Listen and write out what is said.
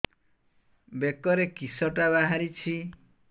ବେକରେ କିଶଟା ବାହାରିଛି